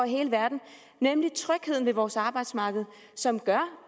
i hele verden nemlig trygheden ved vores arbejdsmarked som gør